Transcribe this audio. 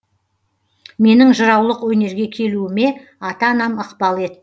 менің жыраулық өнерге келуіме ата анам ықпал етті